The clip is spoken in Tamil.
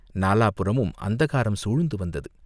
நாலாபுறமும் அந்தகாரம் சூழ்ந்து வந்தது.